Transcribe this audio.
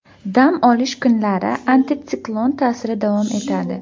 Dam olish kunlari antitsiklon ta’siri davom etadi.